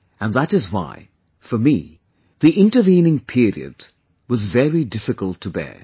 And that is why, for me the intervening period was very difficult to bear